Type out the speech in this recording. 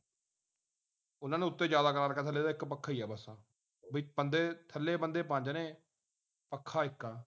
ਉਨ੍ਹਾਂ ਨੂੰ ਉੱਤੇ ਜਾਦਾ ਥੱਲੇ ਤਾਂ ਇਕ ਪੱਖਾ ਹੀ ਹੈ ਬੰਦੇ ਨੇ ਪੱਤੇ ਪੰਜ ਨੇ ਪੱਖਾ ਇਕ ਆ